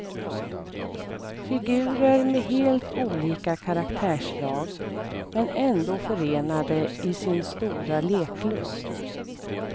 Figurer med helt olika karaktärsdrag men ändå förenade i sin stora leklust.